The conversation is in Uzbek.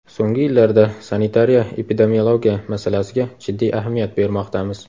So‘nggi yillarda sanitariya-epidemiologiya masalasiga jiddiy ahamiyat bermoqdamiz.